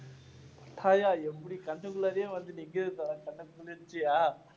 பட்டாயா எப்படி கண்ணுக்குள்ளாறே வந்து நிக்குது கண்ணுக்கு குளிர்ச்சியா